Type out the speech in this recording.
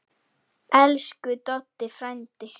Elsku Doddi frændi.